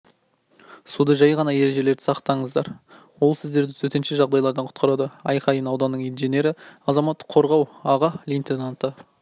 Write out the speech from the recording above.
суда жай ғана ережелерді сақтаңыздар ол сіздерді төтенше жағдайлардан құтқарады аққайын ауданның инженері азаматтық қорғау аға лейтенанты